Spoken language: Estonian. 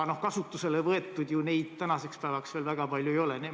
Kasutusele võetud neid tänaseks päevaks ju veel väga palju ei ole.